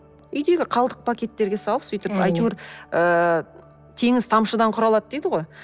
үйдегі қалдық пакеттерге салып сөйтіп әйтеуір ыыы теңіз тамшыдан құралады дейді ғой